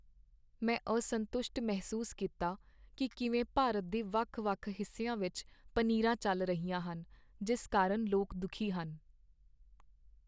ਮੈਂ ਅਸੰਤੁਸ਼ਟ ਮਹਿਸੂਸ ਕੀਤਾ ਕਿ ਕਿਵੇਂ ਭਾਰਤ ਦੇ ਵੱਖ ਵੱਖ ਹਿੱਸਿਆਂ ਵਿੱਚ ਪਨੀਰਾਂ ਚੱਲ ਰਹੀਆਂ ਹਨ ਜਿਸ ਕਾਰਨ ਲੋਕ ਦੁਖੀ ਹਨ